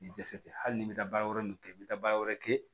I dɛsɛ hali n'i bɛ taa baara wɛrɛ min kɛ n bɛ taa baara wɛrɛ kɛ